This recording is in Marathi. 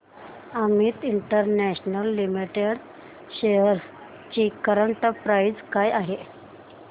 अमित इंटरनॅशनल लिमिटेड शेअर्स ची करंट प्राइस काय आहे